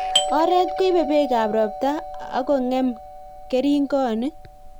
Oreet koibee beek ap ropta akongeem keringonik